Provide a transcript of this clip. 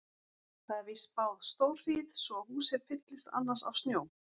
Það er víst spáð stórhríð svo húsið fyllist annars af snjó.